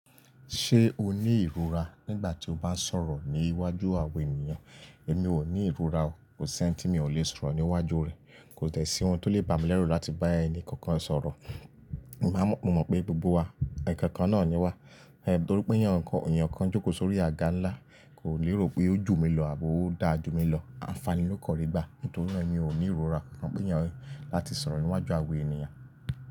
Ṣé o ní ìrora nígbà tí o bá ń sọ̀rọ̀ ní iwájú àwọn ènìyàn? Èmi ò ní ìrora o. Kò sí ẹ́ní tí mi ò le sọ̀rọ̀ ní iwájú rẹ. Kò tẹ̀ sí ohun tó lè bá mi lẹ́rù láti bá ẹnì kankan sọ̀rọ̀. Mo mọ̀ pé gbogbo wa ẹ̀ẹ̀kan kan náà ni wá. Ẹ̀ torí pé èèyàn kọ–èèyàn kan jókòó sórí àga ńlá, kò lérò pé ó jù mí lọ àbí ó dáa jù mí lọ. Ànfàní ló kọ̀ rí gbà. Nítorí náà èmi ò ní ìrora kankan pé èèyàn–láti sọ̀rọ̀ ní iwájú àwọn ènìyàn.